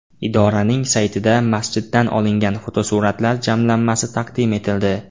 Idoraning saytida masjiddan olingan fotosuratlar jamlanmasi taqdim etildi.